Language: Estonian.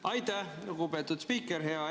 Aitäh, lugupeetud spiiker!